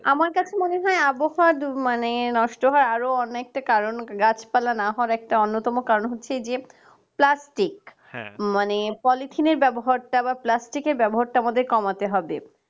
আমার কাছে মনে হয় আবহাওয়া মানে নষ্ট হয় আরো অনেকটা কারণ গাছপালা না হওয়ার একটা অন্যতম কারণ হচ্ছে যে plastic মানে polythene র ব্যবহারটা আবার plastic এর টা আমাদের কমাতে হবে